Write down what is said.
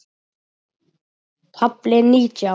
KAFLI NÍTJÁN